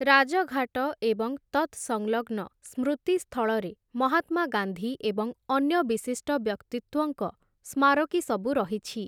ରାଜଘାଟ ଏବଂ ତତ୍‌ସଂଲଗ୍ନ ସ୍ମୃତିସ୍ଥଳରେ ମହାତ୍ମା ଗାନ୍ଧୀ ଏବଂ ଅନ୍ୟ ବିଶିଷ୍ଟ ବ୍ୟକ୍ତିତ୍ୱଙ୍କ ସ୍ମାରକୀସବୁ ରହିଛି ।